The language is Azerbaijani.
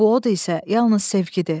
Bu od isə yalnız sevgidir.